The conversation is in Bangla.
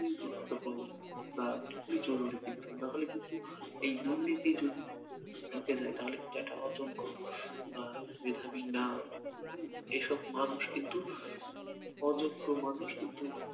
গুরুত্বপূর্ণ বা খুবই জরুরী কিন্তু নাহলে কিন্তু এই দুর্নীতি যদি ঢুকে যায় তাহলে কিন্তু একটা অযোগ্য বা মেধাবী না হম এসব মানুষ কিন্তু অযোগ্য মানুষ কিন্তু